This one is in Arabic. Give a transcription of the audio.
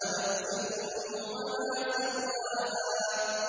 وَنَفْسٍ وَمَا سَوَّاهَا